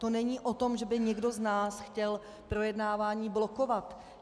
To není o tom, že by někdo z nás chtěl projednávání blokovat.